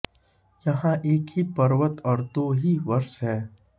यहां एक ही पर्वत और दो ही वर्ष हैं